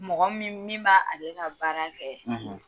Mɔgɔ min min b' ale ka baara kɛ;